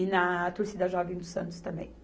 E na Torcida Jovem dos Santos também.